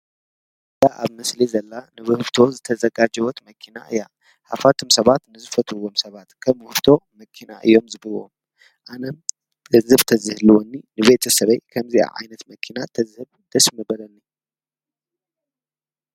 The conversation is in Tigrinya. እታ ኣብ ምስሊ ዘላ ንውህብቶ ዝተዘጋጀወት መኪና እያ፡፡ ሃፋትም ሰባት ንዝፈትዎም ሰባት ከም ውህብቶ መኪና እዮም ዝህብዎም፡፡ ኣነ ገHብ ተዝህልወኒ ንቤተሰበይ ከምዚኣ ዓይነት መኪና ተዝህብ ደስ ንበለኒ፡፡